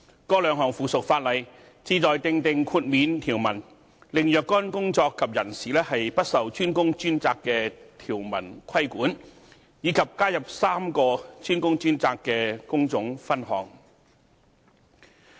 該兩項附屬法例旨在訂定豁免條文，令若干工作及人士不受"專工專責"的條文規管，以及加入3個"專工專責"的工種分項。